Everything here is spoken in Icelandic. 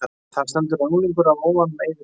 Þar stendur: En unglingur af óvananum ei vill láta